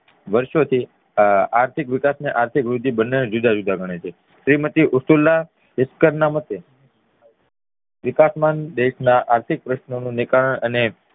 વારસો થી આર્થિક વિકાસ અને આર્થિક વૃધ્ધી બંને ને જુદા જુદા ગણે છે શ્રીમતી ઉસતુલ્લાહ વિકાસમાં દેશના આર્થિક પ્રશ્નોનું નીકરણ અને